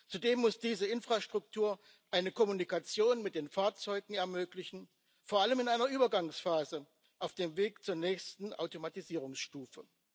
Zudem muss diese Infrastruktur eine Kommunikation mit den Fahrzeugen ermöglichen, vor allem in einer Übergangsphase auf dem Weg zur nächsten Automatisierungsstufe.